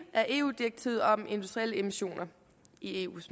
af eu direktivet om industrielle emissioner i eus